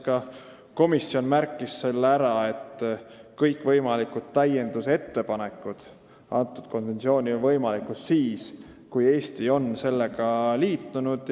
Ka komisjon märkis ära, et kõikvõimalikud täiendusettepanekud on võimalikud siis, kui Eesti on konventsiooniga liitunud.